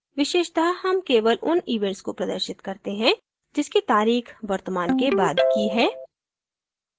विशेषत: हम केवल उन events को प्रदर्शित करते हैं जिसकी तारीख वर्तमान के बाद की है